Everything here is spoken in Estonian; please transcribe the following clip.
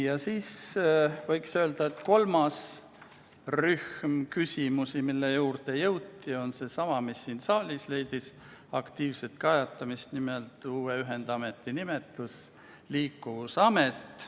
Veel võiks öelda, et kolmas rühm küsimusi puudutas sedasama teemat, mis siin saalis leidis aktiivset käsitlemist, nimelt uue ühendameti nimetust Liikuvusamet.